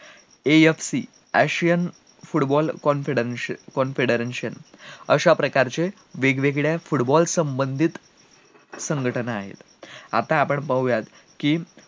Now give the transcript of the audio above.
AFCAsian football confideration अश्या प्रकारेवेगवेगळ्या प्रकारचे football संबंधित संघटना आहेत आता आपण पाहुयात कि